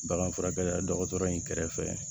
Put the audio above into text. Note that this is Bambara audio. Bagan furakɛ dɔgɔtɔrɔ in kɛrɛfɛ